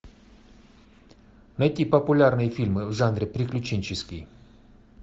найти популярные фильмы в жанре приключенческий